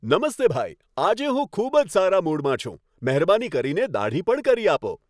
નમસ્તે ભાઈ. આજે હું ખૂબ જ સારા મૂડમાં છું. મહેરબાની કરીને દાઢી પણ કરી આપો.